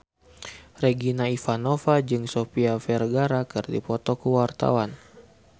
Regina Ivanova jeung Sofia Vergara keur dipoto ku wartawan